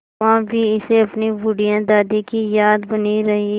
वहाँ भी इसे अपनी बुढ़िया दादी की याद बनी रही